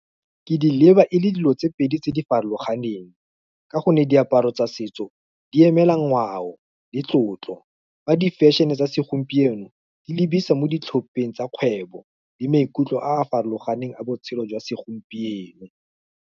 Ke di leba e le dilo tse pedi tse di farologaneng, ka gonne diaparo tsa setso, di emela ngwao, le tlotlo, fa di fashion-e tsa segompieno, di lebisa mo ditlhopheng tsa kgwebo, le maikutlo a a farologaneng a botshelo jwa segompieno.